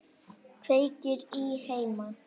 Kveikir í henni.